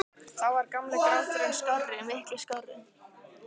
Þá var gamli gráturinn skárri- miklu skárri.